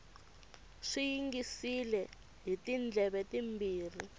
swi yingisile hi tindleve timbirhi